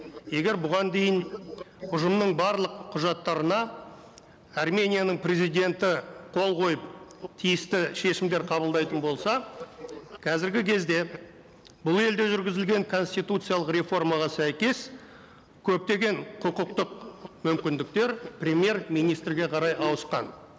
егер бұған дейін ұжымның барлық құжаттарына арменияның президенті қол қойып тиісті шешімдер қабылдайтын болса қазіргі кезде бұл елде жүргізілген конституциялық реформаға сәйкес көптеген құқықтық мүмкіндіктер премьер министрге қарай ауысқан